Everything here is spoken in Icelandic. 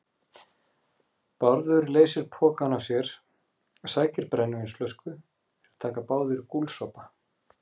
Bárður leysir pokann af sér, sækir brennivínsflösku, þeir taka báðir gúlsopa.